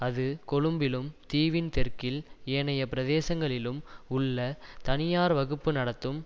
அது கொழும்பிலும் தீவின் தெற்கில் ஏனைய பிரதேசங்களிலும் உள்ள தனியார் வகுப்பு நடத்தும்